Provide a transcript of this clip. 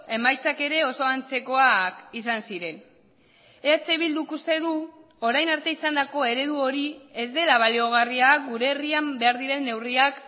emaitzak ere oso antzekoak izan ziren eh bilduk uste du orain arte izandako eredu hori ez dela baliogarria gure herrian behar diren neurriak